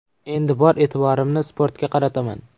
Endi bor e’tiborimni sportga qarataman.